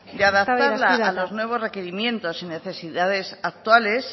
eztabaida hasi da eta y de adaptarla a los nuevos requerimientos y necesidades actuales